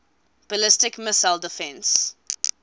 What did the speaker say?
ballistic missile defense